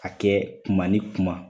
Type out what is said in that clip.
A kɛ kuma ni kuma